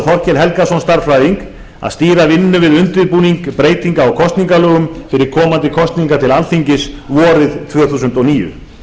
báðu þorkel helgason stærðfræðing að stýra vinnu við undirbúning breytinga á kosningalögum fyrir komandi kosningar til alþingis vorið tvö þúsund og níu